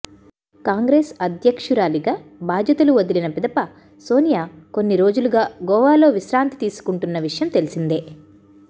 కాంగ్రెస్ అధ్యక్షురాలిగా బాధ్యతలు వదిలిన పిదప సోనియా కొన్ని రోజులుగా గోవాలో విశ్రాంతి తీసుకుంటున్న విషయం తెలిసిందే